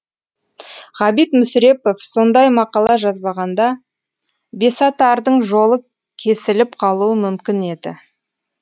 ғабит мүсірепов сондай мақала жазбағанда бесатардың жолы кесіліп қалуы мүмкін еді